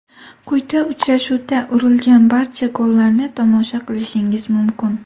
Quyida uchrashuvda urilgan barcha gollarni tomosha qilishingiz mumkin.